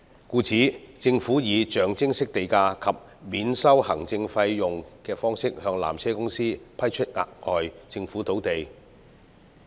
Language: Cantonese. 故此，政府以象徵式地價及免收行政費用的方式向纜車公司批出額外政府土地。